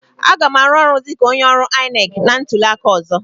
Aga m arụ ọrụ dịka onye ọrụ INEC na ntuli aka ọzọ.